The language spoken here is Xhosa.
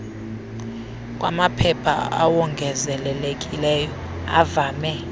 kwamaphepha awongezelelekileyo avame